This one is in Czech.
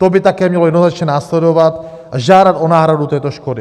To by také mělo jednoznačně následovat a žádat o náhradu této škody.